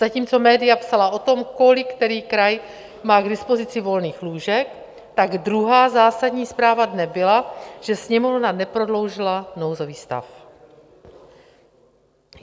Zatímco média psala o tom, kolik který kraj má k dispozici volných lůžek, tak druhá zásadní zpráva dne byla, že Sněmovna neprodloužila nouzový stav.